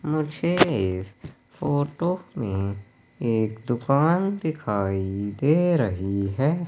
मुझे इस फोटो में एक दुकान दिखाई दे रही है।